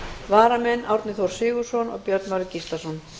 varamenn árni þór sigurðsson og björn valur gíslason